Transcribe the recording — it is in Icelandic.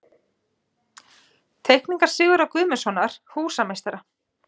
Teikningar Sigurðar Guðmundssonar, húsameistara.